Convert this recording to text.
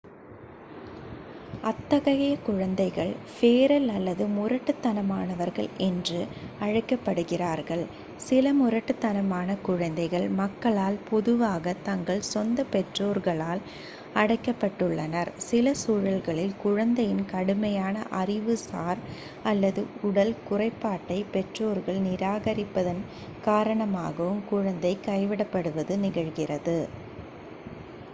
"அத்தகைய குழந்தைகள் "ஃபெரல்" அல்லது முரட்டுத்தனமானவர்கள் என்று அழைக்கப்படுகிறார்கள். சில முரட்டுத்தனமான குழந்தைகள் மக்களால் பொதுவாக தங்கள் சொந்த பெற்றோர்களால் அடைக்கப்பட்டுள்ளனர்; சில சூழல்களில் குழந்தையின் கடுமையான அறிவுசார் அல்லது உடல் குறைபாட்டைப் பெற்றோர்கள் நிராகரிப்பதன் காரணமாகவும் குழந்தை கைவிடப்படுவது நிகழ்கிறது.